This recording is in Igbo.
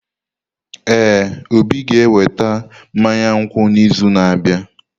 Ee, Obi ga-eweta mmanya nkwụ n’izu na-abịa.